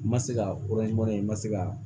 N ma se ka n ma se ka